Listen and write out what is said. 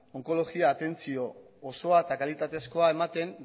onkologia atentzio osoa eta kalitatezkoa ematen